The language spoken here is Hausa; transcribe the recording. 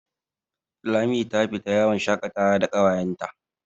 Lami ta fita yawon shakatawa da ƙawayenta.